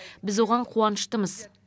біз оған қуаныштымыз